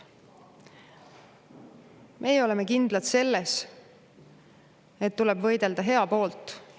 Meie oleme kindlad selles, et tuleb võidelda heade nimel.